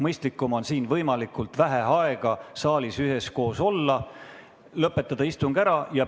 Mõistlikum on võimalikult vähe aega saalis üheskoos olla ja istung ära lõpetada.